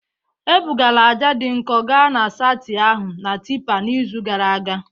Ebugara ájá dị nkọ gaa na saịtị ahụ na tipper n'izu gara aga